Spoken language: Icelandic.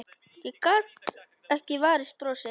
Ég gat ekki varist brosi.